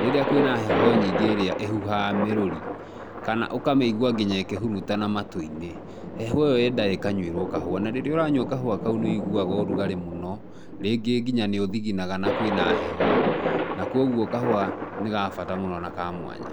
rĩrĩa kwĩna heho nyingĩ ĩrĩa ĩhuhaga mĩrũri kana ũkamĩigua nginya ĩkĩhurutana matũ-inĩ, heho ĩyo yendaga ĩkanyuĩrwo kahũa, na rĩrĩa ũranyua kahũa kau nĩ woiguaga ũrugarĩ mũno rĩngĩ nginya nĩũthiginaga na kwĩna heho na kwoguo kahũa nĩgabata mũno na kamwanya.